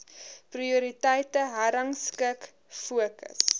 prioriteite herrangskik fokus